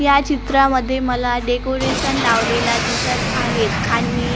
या चित्रामध्ये मला डेकोरेशन लावलेला दिसत आहेत आणि अ--